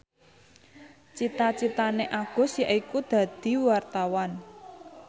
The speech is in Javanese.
cita citane Agus yaiku dadi wartawan